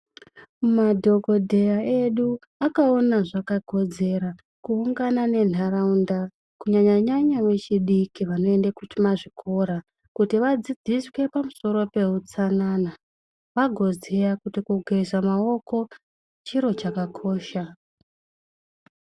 Madhokodheya edu akaona zvakakodzera kuungana nenharaunda, kunyanyanyanya vechidiki vanoenda kumazvikora, kuti vadzidziswe pamusoro peutsanana. Vagoziya kuti kugeza maoko chiro chakakosha.